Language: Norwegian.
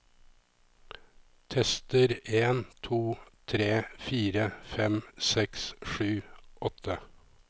Tester en to tre fire fem seks sju åtte